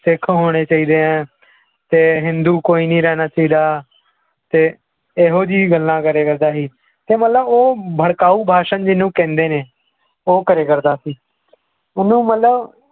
ਸਿੱਖ ਹੋਣੇ ਚਾਹੀਦੇ ਹੈ ਤੇ ਹਿੰਦੂ ਕੋਈ ਨੀ ਰਹਿਣਾ ਚਾਹੀਦਾ ਤੇ ਇਹੋ ਜਿਹੀ ਗੱਲਾਂ ਕਰਿਆ ਕਰਦਾ ਸੀ ਤੇ ਮਤਲਬ ਉਹ ਭੜਕਾਊ ਭਾਸ਼ਣ ਜਿਹਨੂੰ ਕਹਿੰਦੇ ਨੇ ਉਹ ਕਰਿਆ ਕਰਦਾ ਸੀ ਉਹਨੂੰ ਮਤਲਬ